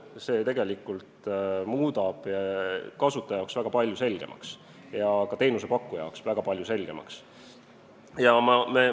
See muudab tegelikult nii kasutaja kui ka teenusepakkuja jaoks väga paljud asjad selgemaks.